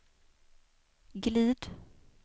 glid